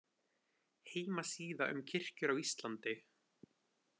Heimasíða um kirkjur á Íslandi